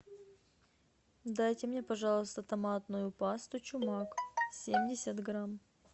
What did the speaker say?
дайте мне пожалуйста томатную пасту чумак семьдесят грамм